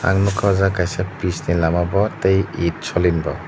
ang nogka o jaga kaisa pis ni lama bo tei itsolin rok.